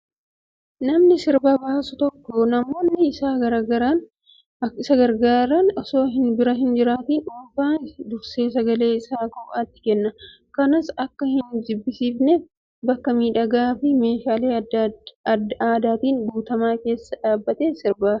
Namni sirba baasu tokko namoonni isa gargaaran osoo isa bira hin dhufiin dursee sagalee isaa kophaatti kenna. Kanas akka hin jibbisiifneef bakka miidhagaa fi meeshaalee aadaatiin guutame keessatti dhaabbatee sirba.